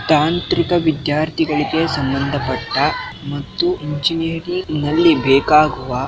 ತಂತ್ರಿಕ ವಿದ್ಯಾರ್ಥಿಗಳಿಗೆ ಸಂಬಂಧಪಟ್ಟ ಮತ್ತು ಇಂಜಿನಿಯರಿಂಗ್ ನಲ್ಲಿ ಬೇಕಾಗುವ